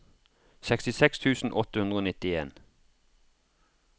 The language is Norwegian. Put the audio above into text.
sekstiseks tusen åtte hundre og nittien